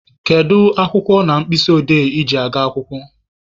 Kedu akwụkwọ na mkpịsị odee I ji aga akwụkwọ?